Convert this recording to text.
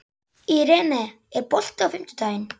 Irene, er bolti á fimmtudaginn?